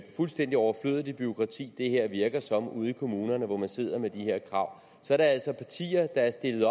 fuldstændig overflødigt et bureaukrati det her virker som ude i kommunerne hvor man sidder med de her krav er der altså partier der har stillet